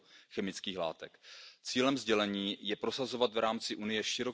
refleje sus costes reales directos e indirectos.